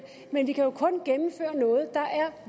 men vi kan jo kun gennemføre noget der er